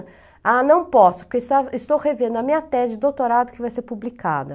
Ah, não posso, porque estava estou revendo a minha tese de doutorado que vai ser publicada.